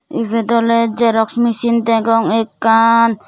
ibot ole jerox mesin degong ekkan.